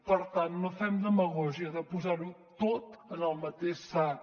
per tant no fem demagògia de posar ho tot en el mateix sac